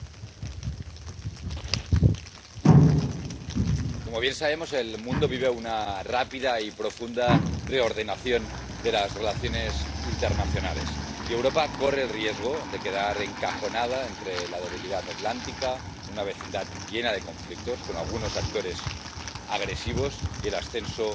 Señor presidente, como bien sabemos, el mundo vive una rápida y profunda reordenación de las relaciones internacionales, y Europa corre el riesgo de quedar encajonada entre la debilidad atlántica, una vecindad llena de conflictos —con algunos actores agresivos— y el ascenso